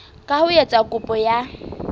ka ho etsa kopo ya